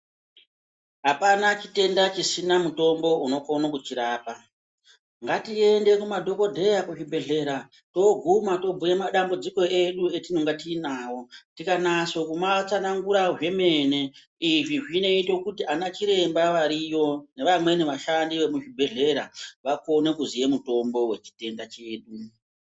Hapana chitenda chisina mutombo unokono kuchirapa. Ngatiende kunadhogodheya kuzvibhehlera toiguma tobhuye madambudziko edu atinenge tinawo. Tikanaso kumatsanangura zvomene, izvi zvinoito kuti anachiremba varivariyo, nevamweni vashandi vemuchibhehlrra vakone kuziya mutombo wechitenda chedu.